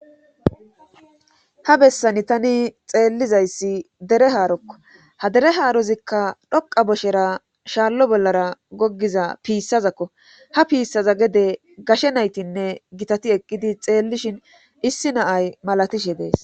Ha bessani tani xeellizayssi dere haarokko ha dere haarozikka dhoqa boshera shaallo bollara goggiza piissazakko ha piissaza gede gashe naytinne gitati eqqidi xeellishin issi naay malatishe dees